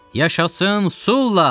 Yaşasın Sula!